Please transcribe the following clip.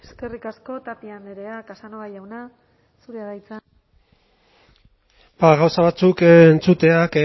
eskerrik asko tapia andrea casanova jauna zurea da hitza bai gauza batzuk